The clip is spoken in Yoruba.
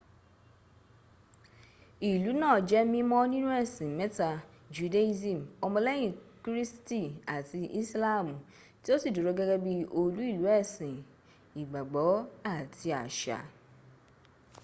ilú náa jẹ́ mímọ́ nínú ẹ̀sìn mẹ́ta- judaism, ọmọlẹ́yìn kírísítì àti ìsìláàmù tí ó sì dúró gẹ́gẹ́ bí olú ìlú ẹ̀sìn ìgbàgbọ́ àti àṣà